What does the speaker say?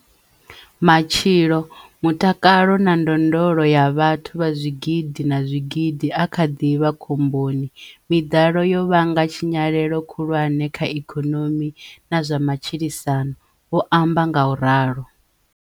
"Matshilo, mutakalo na ndondolo ya vhathu vha zwigidi na zwigidi a kha ḓi vha khomboni. Miḓalo yo vhanga tshinyalelo khulwane kha ikonomi na zwa matshilisano, '' vho amba ngauralo.